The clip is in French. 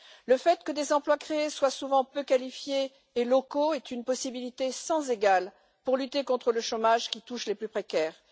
Le fait que les emplois créés soient souvent peu qualifiés et locaux est une possibilité sans égale pour lutter contre le chômage qui touche les plus précaires.